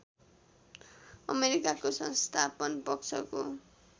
अमेरिकाको संस्थापन पक्षको